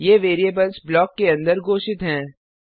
ये variables block के अंदर घोषित हैं